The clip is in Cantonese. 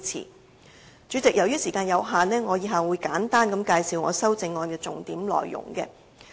代理主席，由於時間有限，以下我會簡單介紹我的修正案的重點內容。